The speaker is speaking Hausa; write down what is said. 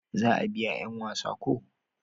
za a biya yan wasa ko?